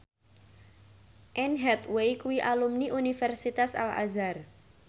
Anne Hathaway kuwi alumni Universitas Al Azhar